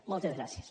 moltes gràcies